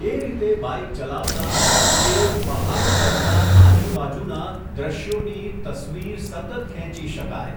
એ રીતે બાઇક ચલાવતાં, કે, પહાડ ચડતાં આજુબાજુનાં, દૃશ્યોની, તસવીર, સતત ખેંચી શકાય.